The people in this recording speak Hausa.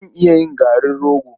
Zan iya yin garin rogo.